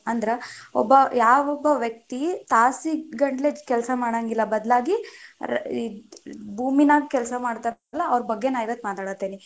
ಅಂದ್ರ ಒಬ್ಬ ಯಾವೊಬ್ಬ ವ್ಯಕ್ತಿ ತಾಸಿಗಂಟಲೆ ಕೆಲ್ಸಾ ಮಾಡಂಗಿಲ್ಲ ಬದ್ಲಾಗಿ ಈ ಭೂಮಿನಾಗ ಕೆಲಸಾ ಮಾಡ್ತಾನಲ್ಲಾ, ಅವ್ರ ಬಗ್ಗೆ ನಾ ಇವತ್ತ ಮಾತಾಡತೇನಿ.